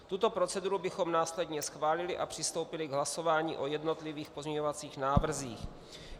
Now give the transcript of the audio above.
Tuto proceduru bychom následně schválili a přistoupili k hlasování o jednotlivých pozměňovacích návrzích.